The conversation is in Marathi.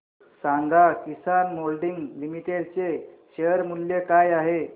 सांगा किसान मोल्डिंग लिमिटेड चे शेअर मूल्य काय आहे